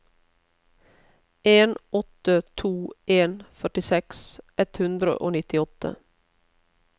en åtte to en førtiseks ett hundre og nittiåtte